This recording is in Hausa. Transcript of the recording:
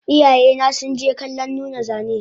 Iyayena sunje kallon nuna zane